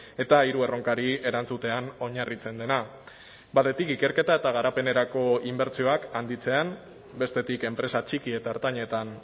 eta hiru erronkari erantzutean oinarritzen dena batetik ikerketa eta garapenerako inbertsioak handitzean bestetik enpresa txiki eta ertainetan